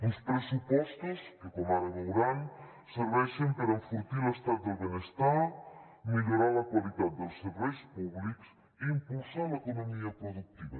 uns pressupostos que com ara veuran serveixen per enfortir l’estat del benestar millorar la qualitat dels serveis públics i impulsar l’economia productiva